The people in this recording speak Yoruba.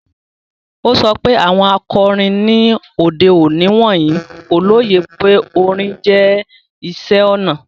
O sọ pe awọn akọrin ni ode oni wọnyi ko loye pe orin jẹ iṣẹ ona